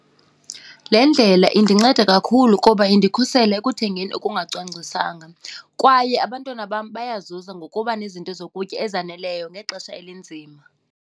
Le ndlela indinceda kakhulu kuba indikhusela ekuthengeni okungacwangciswanga kwaye abantwana bam bayazuza ngokuba nezinto zokutya ezaneleyo ngexesha elinzima.